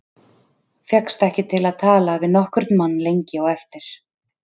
Fékkst ekki til að tala við nokkurn mann lengi á eftir.